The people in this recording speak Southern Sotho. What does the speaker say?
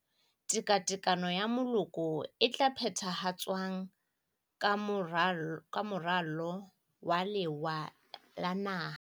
Tekatekano ya Moloko e tla phethahatswang ka Moralo wa Lewa la Naha.